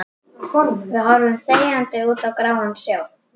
Við horfum þegjandi út á gráan sjó.